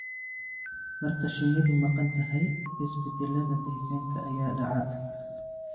Marka shinnidu maqan tahay, isbeddellada deegaanka ayaa dhaca.